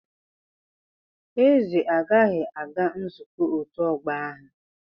Eze agaghị aga nzukọ otu ogbo ahu.